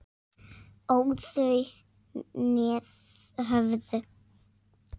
óð þau né höfðu